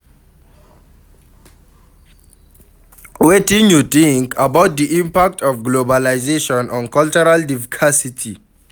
Wetin you think about di impact of globalization on cultural divcersity?